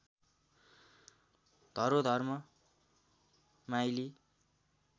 धरोधर्म माइली